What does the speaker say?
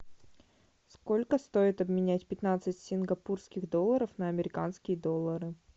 сколько стоит обменять пятнадцать сингапурских долларов на американские доллары